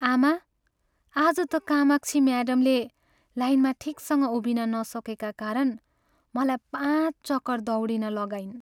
आमा, आज त कामाक्षी म्याडमले लाइनमा ठिकसँग उभिन नसकेका कारण मलाई पाँच चक्कर दौडिन लगाइन्।